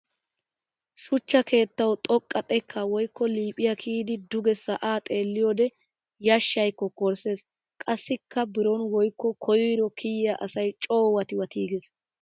Shuchcha keettawu xoqqa xekka woykko liiphiya kiyyddi duge sa'a xeelliyodde yashshay kokkorisees. Qassikka biron woykko koyro kiyiya asay coo wattiwatigees.